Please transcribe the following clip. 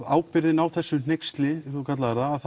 ábyrgðin á þessu hneyksli eins og þú kallaðir það að